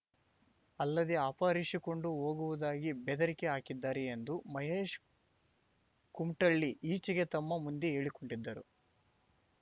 ಅಲ್ಲದೇ ಅಪಹರಿಸಿಕೊಂಡು ಹೋಗುವುದಾಗಿ ಬೆದರಿಕೆ ಹಾಕಿದ್ದಾರೆ ಎಂದು ಮಹೇಶ್ ಕುಮಟಳ್ಳಿ ಈಚೆಗೆ ತಮ್ಮ ಮುಂದೆ ಹೇಳಿಕೊಂಡಿದ್ದರು